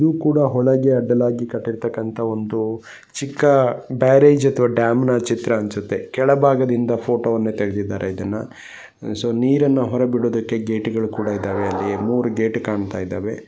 ಇದು ಕೂಡ ಒಂದು ಹೊಳೆಗೆ ಅಡ್ಡಲಾಗಿ ಕಟ್ಟಿರತ್ತಕಂತ ಚಿಕ್ಕ ಬ್ಯಾರೇಜ್ ಅಥವಾ ಡ್ಯಾಮ್ನ ಚಿತ್ರ ಅನಿಸುತ್ತೆ ಕೆಳಭಾಗದಿಂದ ಫೋಟೋವನ್ನು ತೆಗೆದಿದ್ದಾರೆ ಇದನ್ನ ಸೊ ನೀರನ್ನ ಹೊರಗಾಬಿಡೋದಕ್ಕೆ ಗೇಟ್ ಕೂಡ ಇದಾವೆ ಮೂರೂ ಗೇಟ್ ಕಾಣತಾ ಇದಾವೆ.